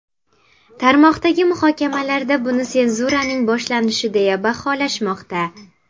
Tarmoqdagi muhokamalarda buni senzuraning boshlanishi deya baholashmoqda.